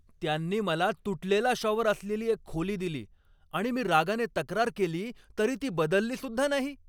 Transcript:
त्यांनी मला तुटलेला शॉवर असलेली एक खोली दिली आणि मी रागाने तक्रार केली तरी ती बदललीसुद्धा नाही.